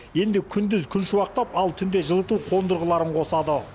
енді күндіз күншуақтап ал түнде жылыту қондырғыларын қосады